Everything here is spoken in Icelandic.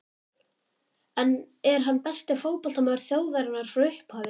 En er hann besti fótboltamaður þjóðarinnar frá upphafi?